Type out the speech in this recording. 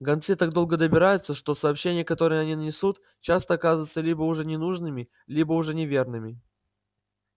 гонцы так долго добираются что сообщения которые они несут часто оказываются либо уже ненужными либо уже неверными